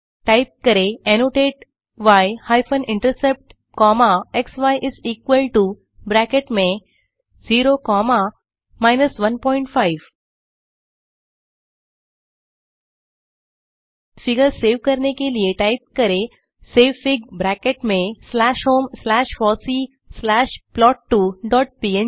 type करें annotate y hyphen intercept comma xy is equal to bracket में 0 comma 15 figure save करने के लिए टाइप करें सेवफिग ब्रैकेट में slash home slash fossee slash plot two dot पंग